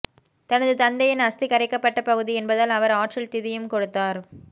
தனது தந்தையின் அஸ்தி கரைக்கப்பட்ட பகுதி என்பதால் அவர் ஆற்றில் திதியும் கொடுத்தார்